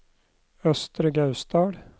Østre Gausdal